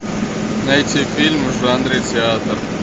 найти фильмы в жанре театр